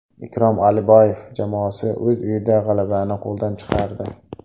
Ikrom Aliboyev jamoasi o‘z uyida g‘alabani qo‘ldan chiqardi.